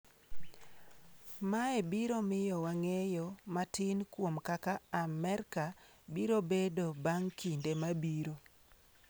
Mae biro miyowa ng’eyo matin kuom kaka Amerka biro bedo bang’ kinde mabiro.”